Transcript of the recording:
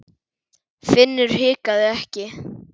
Finnur hikaði ekki.